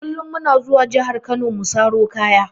Kullum muna zuwa jahar kano mu saro kaya.